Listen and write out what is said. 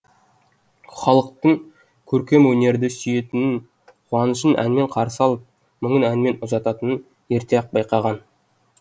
халықтың көркемөнерді сүйетінін қуанышын әнмен қарсы алып мұңын әнмен ұзататынын ерте ақ байқаған